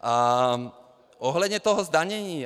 A ohledně toho zdanění.